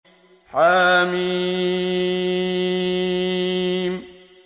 حم